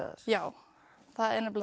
já það er